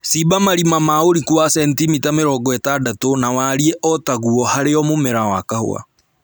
Cimba marima ma ũriku wa sentimita mĩrongo ĩtandatũ na warie o taguo harĩ o mũmera wa kahũa